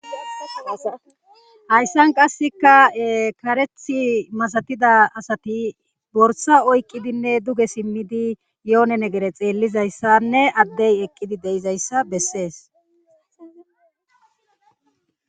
Hayssan qasseka karethi masatida asati borsa oyqqidinne duge simmidi yoone negere xeellizayssanne addey eqqidi deizayssa bessees.